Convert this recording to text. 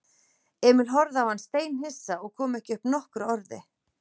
Emil horfði á hann steinhissa og kom ekki upp nokkru orði.